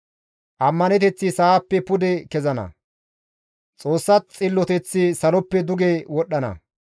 Ammaneteththi sa7appe pude kezana; Xoossa Xilloteththi saloppe duge wodhdhana.